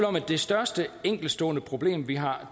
om at det største enkeltstående problem vi har